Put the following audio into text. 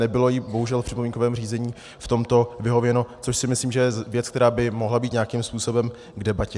Nebylo jí bohužel v připomínkovém řízení v tomto vyhověno, což si myslím, že je věc, která by mohla být nějakým způsobem k debatě.